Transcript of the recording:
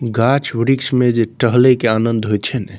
गाछ वृक्ष में जे टहले के आनंद होय छै ने --